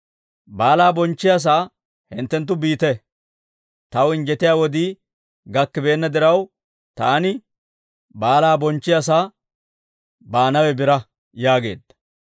Baalaa bonchchiyaasaa hinttenttu biite; taw injjetiyaa wodii gakkibeenna diraw, taani baalaa bonchchiyaasaa baanawe biraa» yaageedda.